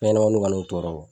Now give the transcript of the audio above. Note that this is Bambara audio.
Fɛnɲamaninw ka n'aw tɔɔrɔ.